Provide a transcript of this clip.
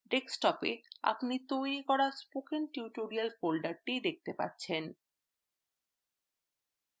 desktop এ আপনি তৈরী করা স্পোকেন টাইটেলিয়াল folder দেখতে পাচ্ছেন